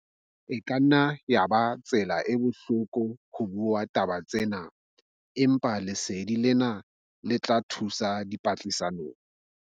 E ka nna ya eba tsela e bohloko ho bua taba tsena, empa lesedi lena le tla thusa dipatlisisong.